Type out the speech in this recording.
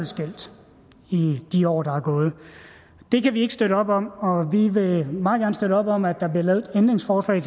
skilt i de år der er gået det kan vi ikke støtte op om og vi vil meget gerne støtte op om at der bliver lavet et ændringsforslag